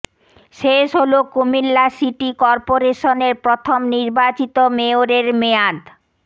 শেষ হলো কুমিল্লা সিটি করপোরেশনের প্রথম নির্বাচিত মেয়রের মেয়াদ